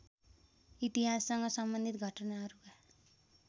इतिहाससँग सम्बन्धित घटनाहरुका